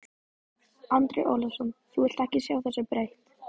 Andri Ólafsson: Þú vilt ekki sjá þessu breytt?